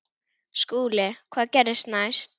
SKÚLI: Hvað gerðist næst?